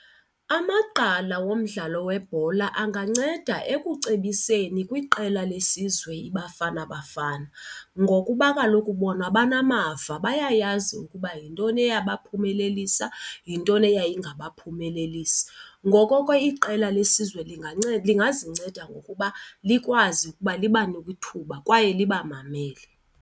Amagqala womdlalo webhola anganceda ekucebiseni kwiqela lesizwe iBafana Bafana ngokuba kaloku bona banamava. Bayayazi ukuba yintoni eyabaphumelelisa, yintoni eyayingabaphumelelisi. Ngoko ke iqela lesizwe linganceda lingazinceda ngokuba likwazi ukuba libanike ithuba kwaye libamamele.